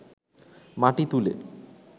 মাটি তুলে